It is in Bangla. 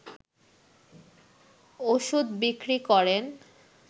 ওষুধ বিক্রি করেন